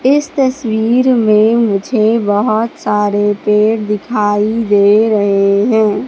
इस तस्वीर में मुझे बहोत सारे पेड़ दिखाई दे रहे हैं।